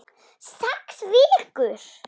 Sex vikur.